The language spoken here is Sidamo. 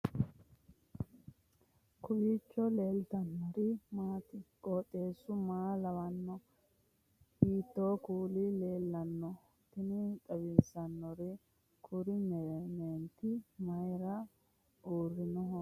kowiicho leellannori maati ? qooxeessu maa lawaanno ? hiitoo kuuli leellanno ? tini xawissannori kuri meenti mayra uurrinoreeti uddiriori mayra babbaxxikka